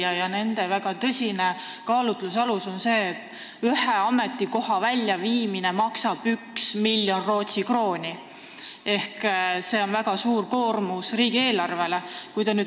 Nende jaoks on väga tõsine kaalutlusalus see, et ühe ametikoha väljaviimine maksab 1 miljon Rootsi krooni, mis on väga suur koormus riigieelarvele.